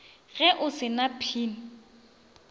ge o se na pin